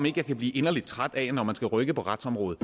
ikke kan blive inderlig træt af at man når man skal rykke på retsområdet